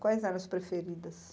Quais eram as preferidas?